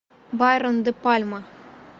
брайан де пальма